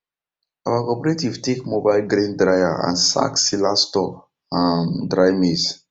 our cooperative take mobile grain dryer and sack sealer store um dry maize